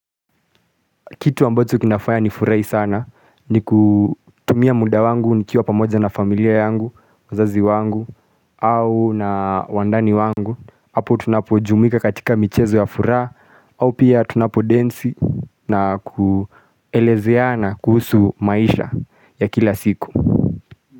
Kitu ambacho kinafaa ni furahi sana ni kutumia muda wangu ni kiwa pamoja na familia yangu, wazazi wangu au na wandani wangu apo tunapo jumuika katika michezo ya furaha au pia tunapo densi na kuelezea na kuhusu maisha ya kila siku.